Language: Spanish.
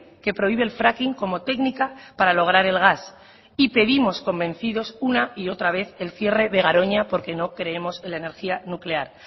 que prohíbe el fracking como técnica para lograr el gas y pedimos convencidos una y otra vez el cierre de garoña porque no creemos en la energía nuclear